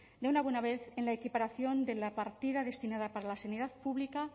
de una buena vez en la equiparación de la partida destinada para la sanidad pública